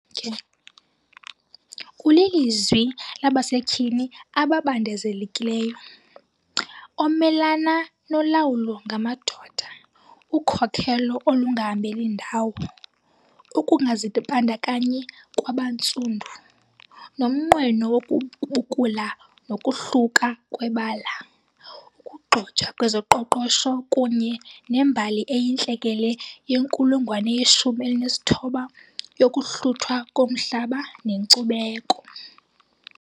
ulilizwi labasetyhini ababandezelekileyo omelana nolawulo ngamadoda, ukhokhelo olungahambeli ndawo, ukungazibandakanyi kwabantsundu, nomnqweno wokubukula nokohluka kwabebala, ukugxojwa kwezoqoqosho kunye nembali eyintlekele yenkulungwane yeshumi elinesithoba yokuhluthwa komhlaba nenkcubeko.